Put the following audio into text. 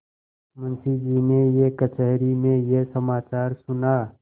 मुंशीजी ने कचहरी में यह समाचार सुना